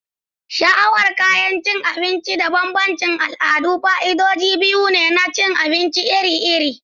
Sha'awar kayan abinci da bambancin al'adu fa'idodi biyu ne na cin abinci iri-iri.